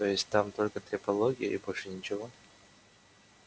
то есть там только трепология и больше ничего